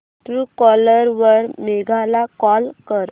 Truecaller वर मेघा ला call कर